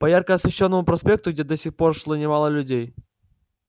по ярко освещённому проспекту где до сих пор шло немало людей